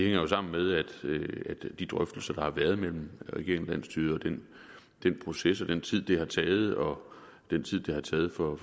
jo sammen med de drøftelser der har været mellem regeringen og landsstyret og den proces altså den tid det har taget og den tid det har taget for